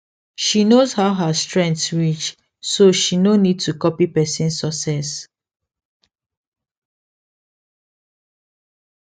she knows how her strength reach she no need to copy person success